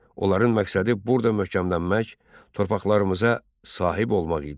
Onların məqsədi burda möhkəmlənmək, torpaqlarımıza sahib olmaq idi.